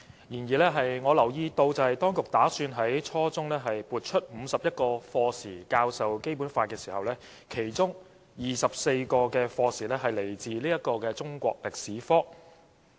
然而，我留意到當局打算在初中階段撥出51課時教授《基本法》，其中24課時來自中國歷史科。